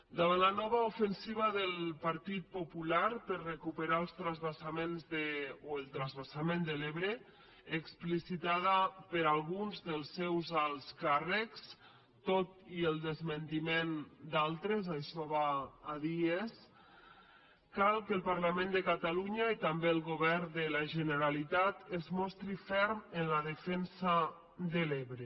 davant la nova ofensiva del partit popular per recuperar el transvasament de l’ebre explicitada per alguns dels seus alts càrrecs tot i el desmentiment d’altres això va a dies cal que el parlament de catalunya i també el govern de la generalitat es mostrin ferms en la defensa de l’ebre